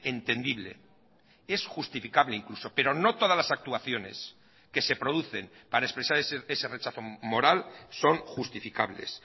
entendible es justificable incluso pero no todas las actuaciones que se producen para expresar ese rechazo moral son justificables